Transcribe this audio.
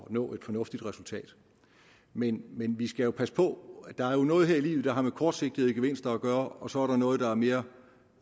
at nå et fornuftigt resultat men men vi skal jo passe på der er jo noget her i livet der har med kortsigtede gevinster at gøre og så er der noget der er mere